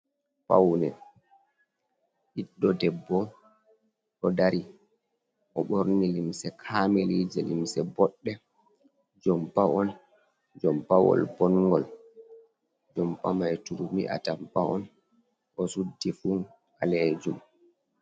Paune ɓiɗɗo ɗeɓɓo ɗo ɗari o ɓorni limse kamili je limse ɓoɗɗe, jompa on jompa wol bongol jompa mai turmi atampa on o suɗɗi fu ɓalejum.